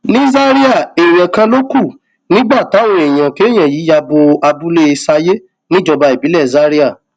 ní zaria èèyàn kan ló kù nígbà táwọn èèyàn kéèyàn yìí ya bo abúlé sayé níjọba ìbílẹ zaria